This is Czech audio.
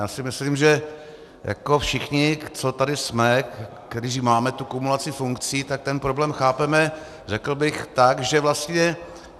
Já si myslím, že jako všichni, co tady jsme, kteří máme tu kumulaci funkcí, tak ten problém chápeme, řekl bych tak, že vlastně...